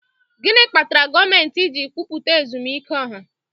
Gịnị kpatara gọọmentị ji ekwupụta ezumike ọha?